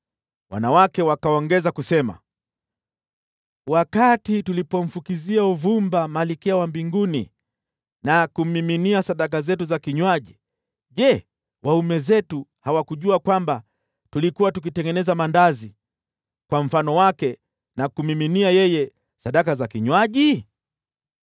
Wanawake wakaongeza kusema, “Wakati tulipomfukizia uvumba Malkia wa Mbinguni na kummiminia sadaka zetu za kinywaji, je, waume zetu hawakujua kwamba tulikuwa tukitengeneza maandazi kwa mfano wake, na kummiminia yeye sadaka za kinywaji?”